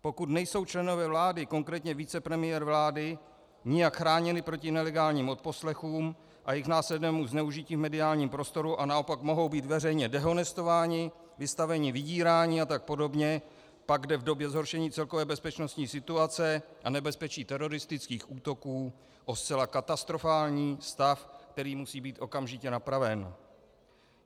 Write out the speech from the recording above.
Pokud nejsou členové vlády, konkrétně vicepremiér vlády, nijak chráněni proti nelegálním odposlechům a jejich následnému zneužití v mediálním prostoru a naopak mohou být veřejně dehonestováni, vystaveni vydírání a tak podobně, pak jde v době zhoršení celkové bezpečnostní situace a nebezpečí teroristických útoků o zcela katastrofální stav, který musí být okamžitě napraven.